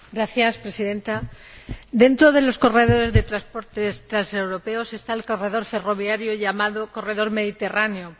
Señora Presidenta, dentro de los corredores de transportes transeuropeos está el corredor ferroviario llamado corredor mediterráneo.